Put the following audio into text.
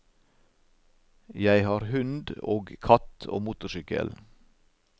Jeg har hund og katt og motorsykkel.